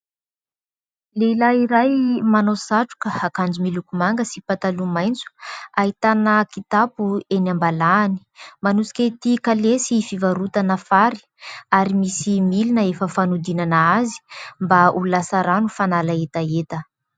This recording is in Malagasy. Lehilahy iray manao satroka, akanjo miloko manga sy pataloha maitso, ahitana kitapo eny am-balahany ; manosika ity kalesy fivarotana fary ary misy milina efa fanodinana azy mba ho lasa rano fanala hetaheta.